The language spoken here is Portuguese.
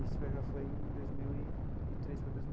Isso foi já em dois mil e e três foi dois mil.